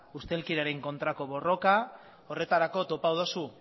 ustelkeriaren kontrako borroka horretarako topatu duzu